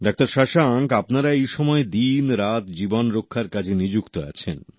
doctor Shashanka আপনারা এই সময় দিন রাত জীবন রক্ষার কাজে নিযুক্ত আছেন